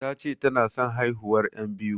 Tace tana son haihuwar yan biyu